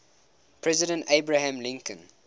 president abraham lincoln